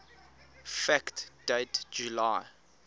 fact date july